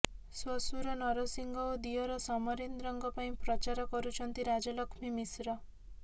ଶ୍ୱଶୁର ନରସିଂହ ଓ ଦିଅର ସମରେନ୍ଦ୍ରଙ୍କ ପାଇଁ ପ୍ରଚାର କରୁଛନ୍ତି ରାଜଲକ୍ଷ୍ମୀ ମିଶ୍ର